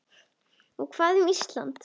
Og hvað um Ísland?